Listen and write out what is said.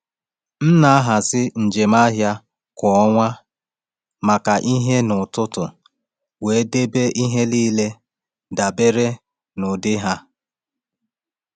M na-ahazi njem ahịa kwa ọnwa maka ihe n’ọtụtù, wee debe ihe niile dabere n’ụdị ha.